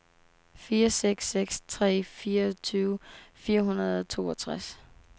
fire seks seks tre fireogtyve fire hundrede og toogtres